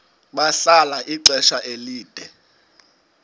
bahlala ixesha elide